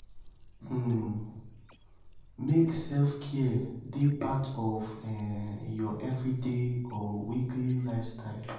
um make self-care dey part of um your everyday or weekly lifestyle